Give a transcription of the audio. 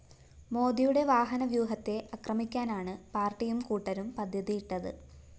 മോദിയുടെ വാഹന വ്യൂഹത്തെ അക്രമിക്കാനാണ് പാട്ടിയും കൂട്ടരും പദ്ധതിയിട്ടത്